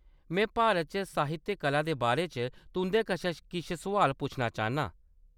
में भारत च साहित्यक कला दे बारे च तुं'दे कशा किश सुआल पुच्छना चाह्‌‌‌न्नां।